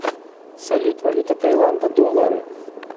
салют валюта таиланда доллары